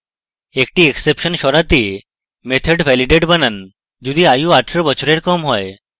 একটি exception সরাতে method validate বানান যদি আয়ু 18 বছরের কম হয়